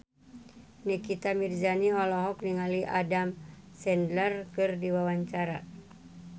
Nikita Mirzani olohok ningali Adam Sandler keur diwawancara